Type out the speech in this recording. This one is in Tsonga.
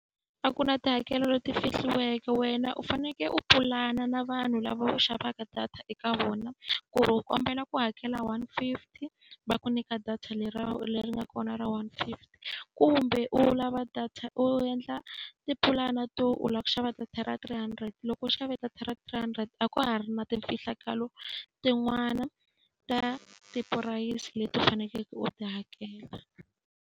A ku na tihakelo leti fihliweke wena u fanekele u pulana na vanhu lava xavaka data eka vona, ku ri u kombela ku hakela one fifty, va ku nyika data leri nga kona ra one fifty. Kumbe u lava data u endla tipulani to u lava ku xava data ra three hundred, loko u xave data ra three hundred a ka ha ri na timfihlo tin'wana ta tipurayisi leti u fanekeleke u ti hakela.